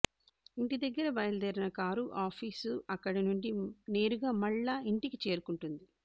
ఇంటి దగ్గర బయలు దేరిన కారు ఆఫీసు అక్కడి నుండి నేరుగా మల్లా ఇంటికే చేరుకుంటుంది